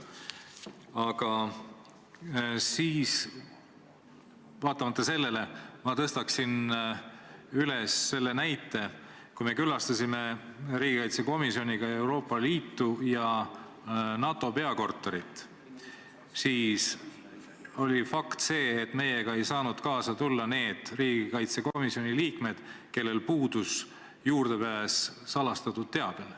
Aga vaatamata sellele ma toon sellise näite: kui me külastasime riigikaitsekomisjoniga Euroopa Liitu ja NATO peakorterit, siis ei saanud meiega kaasa tulla need riigikaitsekomisjoni liikmed, kellel puudus juurdepääs salastatud teabele.